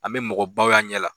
An bɛ mɔgɔbaw ye an ɲɛ la